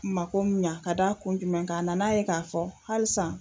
Mako mun ɲa ka da kun jumɛn kan a nan'a ye k'a fɔ halisa